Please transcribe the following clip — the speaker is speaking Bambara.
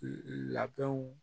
Labɛnw